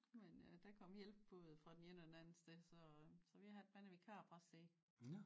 Men øh der kom hjælp både fra den ene og den anden sted så så vi har han er vikarpræst nede